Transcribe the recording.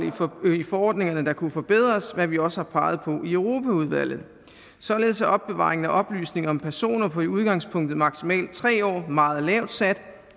i forordningerne der kunne forbedres hvad vi også har peget på i europaudvalget således er opbevaring af oplysninger om personer på i udgangspunktet maksimalt tre år meget lavt sat